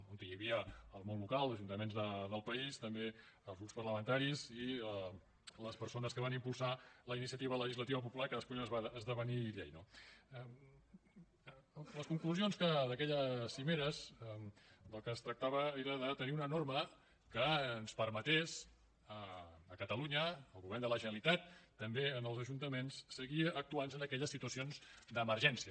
on hi havia el món local ajuntaments del país també els grups parlamentaris i les persones que van impulsar la iniciativa legislativa popular que després va esdevenir llei no les conclusions d’aquelles cimeres del que es tractava era de tenir una norma que ens permetés a catalunya al govern de la generalitat també als ajuntaments seguir actuant en aquelles situacions d’emergència